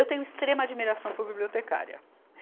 Eu tenho extrema admiração por bibliotecária.